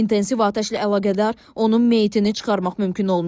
İntensiv atəşlə əlaqədar onun meyitini çıxarmaq mümkün olmayıb.